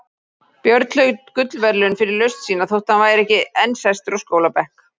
Björn hlaut gullverðlaun fyrir lausn sína þótt hann væri ekki enn sestur á skólabekk.